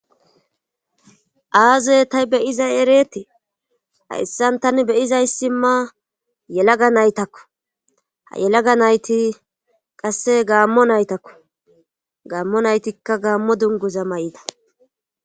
aazey ta beyizay ereetii hayssan tani beyizayssi ma yelaga naytakko ha yelaga nayti qasse gaammo naytakko gaammo naytikka gaammo dunguza mayida.